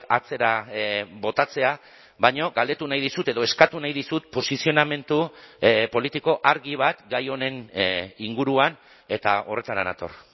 atzera botatzea baina galdetu nahi dizut edo eskatu nahi dizut posizionamendu politiko argi bat gai honen inguruan eta horretara nator